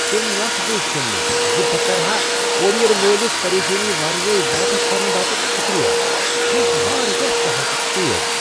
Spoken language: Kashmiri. تِم لفظٕے چھِم نہ زِ بہ کرٕ ہا کوریر وٲلِس پریشانی ورٲے واپسی کرنہٕ باپت شکریہ ۔ یہ اوس واریاہ سہل تہٕ تیز۔